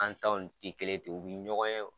An ta wul ti kelen ye ten, u bi ɲɔgɔn ye